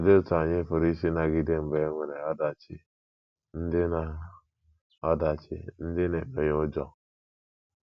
Olee otú anyị pụrụ isi nagide mgbe e nwere ọdachi ndị na ọdachi ndị na - emenye ụjọ?